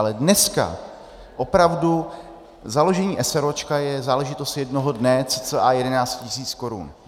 Ale dneska opravdu založení eseróčka je záležitost jednoho dne, cca 11 tisíc korun.